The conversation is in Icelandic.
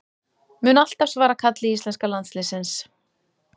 Mun alltaf svara kalli íslenska landsliðsins